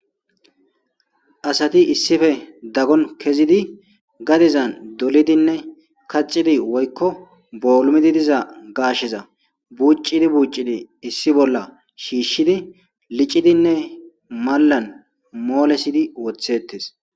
Aati issippe daggon kezidi gadezan dolidinne kaxidi woykko boolumidi diza gaashsheza buuccidi buuccidi issi bolla shiishshidi licidinne mallan moolesidi woththettees